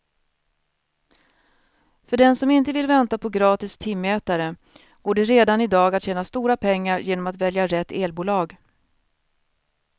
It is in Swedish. För den som inte vill vänta på gratis timmätare går det redan i dag att tjäna stora pengar genom att välja rätt elbolag.